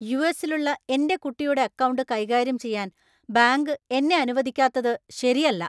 യു.എസ്സിലുള്ള എന്‍റെ കുട്ടിയുടെ അക്കൗണ്ട് കൈകാര്യം ചെയ്യാൻ ബാങ്ക് എന്നെ അനുവദിക്കാത്തത് ശരിയല്ല.